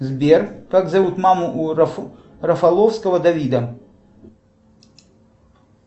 сбер как зовут маму у рафаловского давида